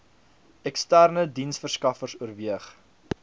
eksterne diensteverskaffers oorweeg